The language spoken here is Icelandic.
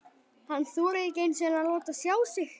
Hann þorir ekki einu sinni að láta sjá sig!